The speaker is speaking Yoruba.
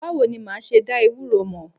Báwo ni ma ṣe dá ewuro mọ̀?